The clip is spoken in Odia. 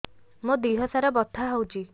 ମୋ ଦିହସାରା ବଥା ହଉଚି